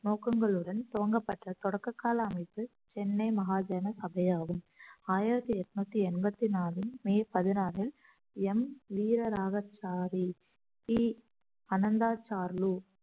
நோக்கங்களுடன் துவங்கப்பட்ட தொடக்ககால அமைப்பு சென்னை மகாஜன சபை ஆகும் ஆயிரத்தி எட்நூத்தி எண்பத்தி நாலு மே பதினாறு எம் வீரராகசாரி பி அனந்தா சாருலு